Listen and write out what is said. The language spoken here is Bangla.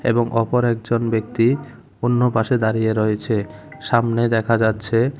এবং অপর একজন ব্যক্তি অন্য পাশে দাঁড়িয়ে রয়েছে সামনে দেখা যাচ্ছে--